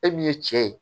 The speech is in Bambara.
E min ye cɛ ye